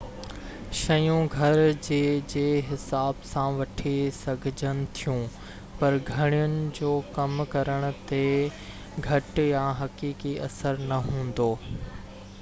شيون گهرجي جي حساب سان وٺي سگهجن ٿيون پر گهڻين جو ڪم ڪرڻ تي گهٽ يا حقيقي اثر نہ هوندو